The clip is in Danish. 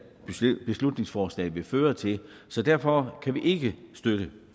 beslutningsforslag vil føre til så derfor kan vi ikke støtte